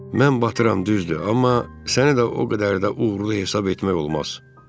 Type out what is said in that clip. Mən batıram, düzdür, amma səni də o qədər də uğurlu hesab etmək olmaz, fikirləş Bil.